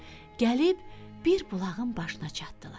Gəlib bir bulağın başına çatdılar.